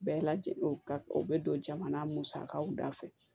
Bɛɛ lajɛlen o ka o bɛ don jamana musakaw da fɛ